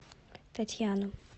татьяну